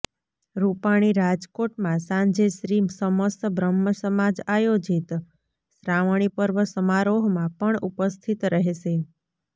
રુપાણી રાજકોટમાં સાંજે શ્રી સમસ્ત બ્રહ્મસમાજ આયોજિત શ્રાવણી પર્વ સમારોહમાં પણ ઉપસ્થિત રહેશે